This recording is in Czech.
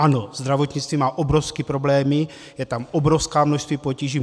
Ano, zdravotnictví má obrovské problémy, je tam obrovské množství potíží.